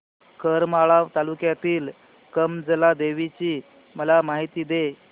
करमाळा तालुक्यातील कमलजा देवीची मला माहिती दे